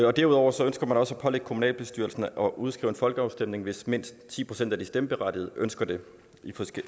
og derudover ønsker man også at pålægge kommunalbestyrelserne at udskrive en folkeafstemning hvis mindst ti procent af de stemmeberettigede ønsker det